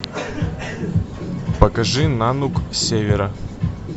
покажи нанук с севера